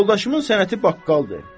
Yoldaşımın sənəti baqqaldır.